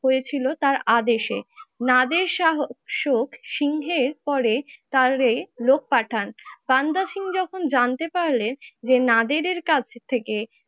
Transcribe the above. হয়েছিল তার আদেশে। নাদের শাহ শোক সিংহের পরে তার লোক পাঠান। বান্দা সিং যখন জানতে পারলেন যে নাদেরের কাছ থেকে